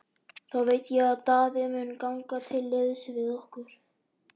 Þá veit ég að Daði mun ganga til liðs við okkur.